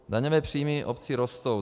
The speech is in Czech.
Daňové příjmy obcí rostou.